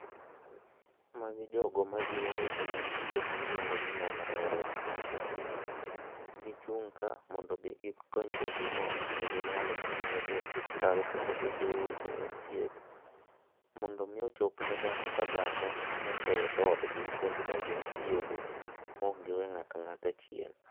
Magi jogo majiwo weche mag thieth miluongo ni nyamrerwa. Gichung' ka mondo mi gikony jatuo maok nigi nyalo manyalo dhi osiptal kendo gijiwo weche mag thieth mondo mi ochop ne dhano ka dhano nyaka e dhoodgi mondo mi ocho neji maok giweyo ng'ato ang'ata chien